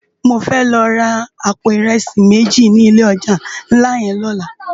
Mó fè lò rá àpó irèsi méji ni ilé òjá nlá yèn lòlá